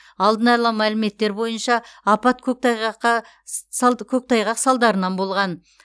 алдын ала мәліметтер бойынша апат көктайғаққа салтс көктайғақ салдарынан болған